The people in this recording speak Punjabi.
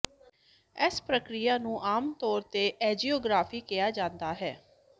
ਇਸ ਪ੍ਰਕਿਰਿਆ ਨੂੰ ਆਮ ਤੌਰ ਤੇ ਐਂਜੀਓਗ੍ਰਾਫੀ ਕਿਹਾ ਜਾਂਦਾ ਹੈ